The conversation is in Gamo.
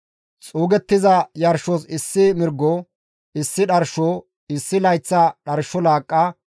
Xuugettiza yarshos issi mirgo; issi dharsho, issi layththa dharsho laaqqa,